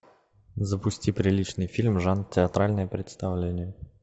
запусти приличный фильм жанр театральное представление